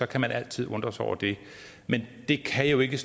kan man altså undre sig over det men det kan jo ikke